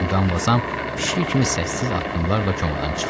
Muqamvazam pişiyi kimi səssiz addımlarla komadan çıxdı.